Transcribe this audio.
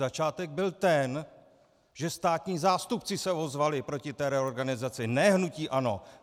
Začátek byl ten, že státní zástupci se ozvali proti té reorganizaci, ne hnutí ANO.